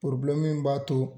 Poroblɛmu min b'a to